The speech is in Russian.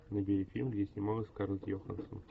набери фильм где снималась скарлетт йоханссон